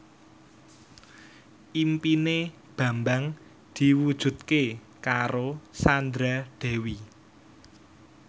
impine Bambang diwujudke karo Sandra Dewi